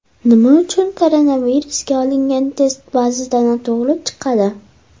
Nima uchun koronavirusga olingan test ba’zida noto‘g‘ri chiqadi?